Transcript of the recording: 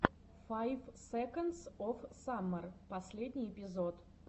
файв секондс оф саммер последний эпизод